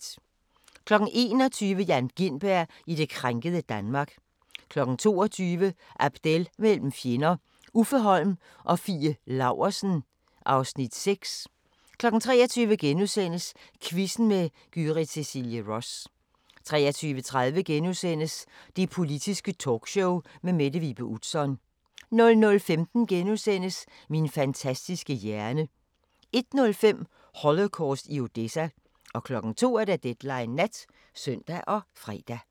21:00: Jan Gintberg i det krænkede Danmark 22:00: Abdel mellem fjender – Uffe Holm og Fie Laursen (Afs. 6) 23:00: Quizzen med Gyrith Cecilie Ross * 23:30: Det Politiske Talkshow med Mette Vibe Utzon * 00:15: Min fantastiske hjerne * 01:05: Holocaust i Odessa 02:00: Deadline Nat (søn og fre)